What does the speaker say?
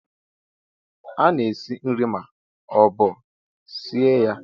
A na-esi nri ma ọ bụ sie ya